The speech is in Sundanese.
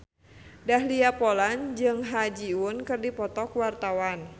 Dahlia Poland jeung Ha Ji Won keur dipoto ku wartawan